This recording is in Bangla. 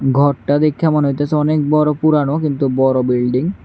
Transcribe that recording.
ঘরটা দেইখা মনে হইতেছে অনেক বড় পুরানো কিন্তু বড় বিল্ডিং ।